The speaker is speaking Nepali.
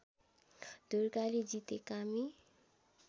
दुर्गाले जिते कामी